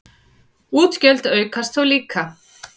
Útgjöld aukast þó líka.